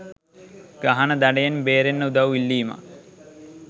ගහන දඩයෙන් බේරෙන්න උදවු ඉල්ලීමක්.